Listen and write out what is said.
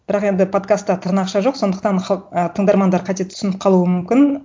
бірақ енді подкастта тырнақша жоқ сондықтан ы тыңдармандар қате түсініп қалуы мүмкін